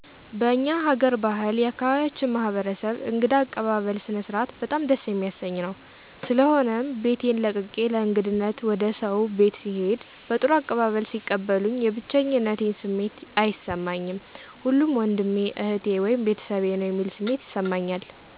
በእኛ ሀገር ባህል የአካባቢያችን ማህበረሰብ እንግዳ አቀባበል ስነስርዓት በጣም ደስ የሚያሰኝ ነዉ። ስለሆነም ቤቴን ለቅቄ ለእንግድነት ወደ ሰዉ ቤት ስሄድ በጥሩ አቀባበል ሲቀበሉኝ የብቼኝነት ስሜት አይሰማኝም ሁሉም ወንድሜ እህቴ(ቤተሰቤ) ነዉ የሚል ስሜት ይሰማኛል።